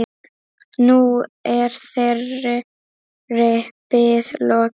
Nú er þeirri bið lokið.